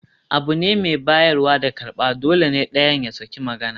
Abu ne mai bayarwa da karɓa, dole ne ɗayan ya sake magana